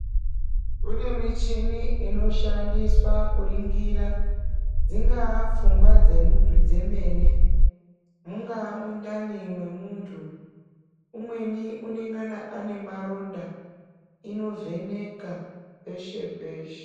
Kune michini inoshandiswa kuringira dzingaa pfunga dzemunhu dzemene, mungaa mundani mwemunhu, umweni unongana ane maronda, inovheneka peshe-peshe.